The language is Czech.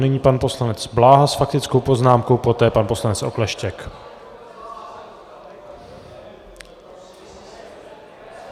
Nyní pan poslanec Bláha s faktickou poznámkou, poté pan poslanec Okleštěk.